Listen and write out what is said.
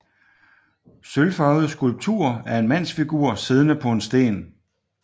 Sølvfarvet skulptur af en mandsfigur siddende på en sten